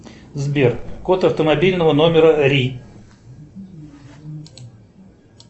сбер код автомобильного номера ри